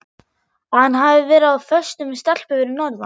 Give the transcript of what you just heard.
Að hann hafi verið á föstu með stelpu fyrir norðan.